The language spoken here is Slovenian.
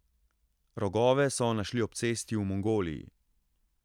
Rogove so našli ob cesti v Mongoliji.